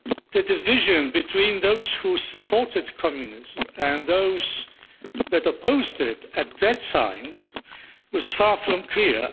The division between those who supported communism and those that opposed it, at that time, was far from clear.